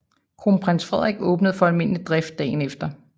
Kronprins Frederik og åbnede for almindelig drift dagen efter